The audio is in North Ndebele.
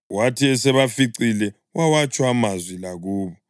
Wathi esebaficile wawatsho amazwi la kubo.